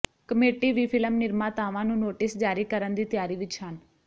committee ਵੀ film ਨਿਰਮਾਤਾਵਾਂ ਨੂੰ ਨੋਟਿਸ ਜਾਰੀ ਕਰਨ ਦੀ ਤਿਆਰੀ ਵਿੱਚ ਹਨ